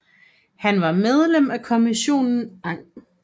Han var medlem af Kommissionen ang